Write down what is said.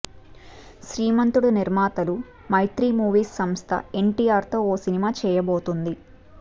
శ్రీమంతుడు నిర్మాతలు మైత్రీ మూవీస్ సంస్థ ఎన్టీఆర్తో ఓ సినిమా చేయబోతోంది